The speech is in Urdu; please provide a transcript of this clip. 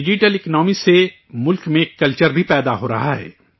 ڈیجیٹل اکنامی سے ملک میں ایک کلچر بھی پیدا ہو رہا ہے